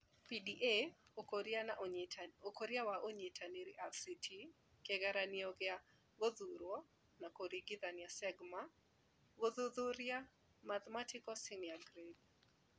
PDA Ũkũria wa Ũnyitanĩri RCT Kĩgeranio gĩa Gũthuurwo na Kũringithania SeGMA Gũthuthuria Mathematical Senior Grade